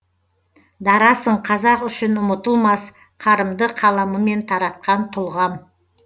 дарасың қазақ үшін ұмытылмас қарымды қаламымен таратқан тұлғам